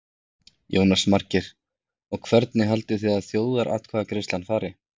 Jónas Margeir: Og hvernig haldið þið að þjóðaratkvæðagreiðslan fari?